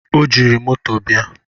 o jiri moto bịa